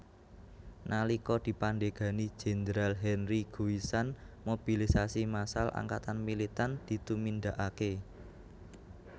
Nalika dipandhegani Jenderal Henri Guisan mobilisasi massal angkatan militan ditumindakake